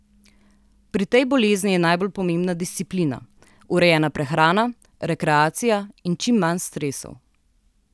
Pri tej bolezni je najbolj pomembna disciplina, urejena prehrana, rekreacija in čim manj stresov.